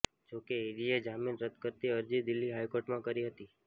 જો કે ઈડીએ જામીન રદ કરતી અરજી દિલ્હી હાઈકોર્ટમાં કરી હતી